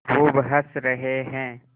खूब हँस रहे हैं